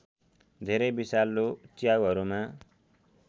धेरै विषालु च्याउहरूमा